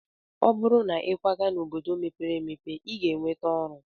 Ọ bụrụ na ịkwaga n'obodo mepere emepe, ị ga-enweta ọrụ.